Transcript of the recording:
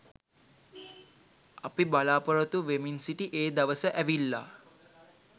අපි බලාපොරොත්තු වෙමින් සිටි ඒ දවස ඇවිල්ලා